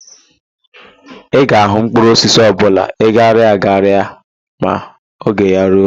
Ị ga-ahụ mkpụrụosisi ọbụla aghara aghara ma oge ya ruo.